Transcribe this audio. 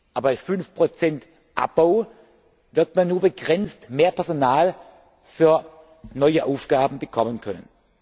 Aber bei 5 Abbau wird man nur begrenzt mehr Personal für neue Aufgaben bekommen können.